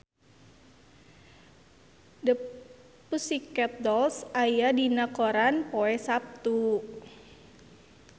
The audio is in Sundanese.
The Pussycat Dolls aya dina koran poe Saptu